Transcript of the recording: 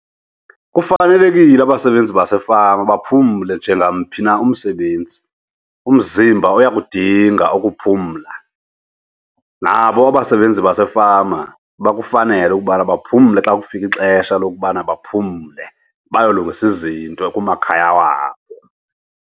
Kufanelekile abasebenzi basefama baphumle njengamphi na umsebenzi, umzimba uyakudinga ukuphumla. Nabo abasebenzi basefama bakufanele okokubana baphumle xa kufike ixesha lokubana baphumle bayolungisa izinto kumakhaya wabo.